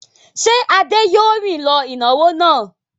Ṣé Adé yóò rìn lọ ìnáwó náà?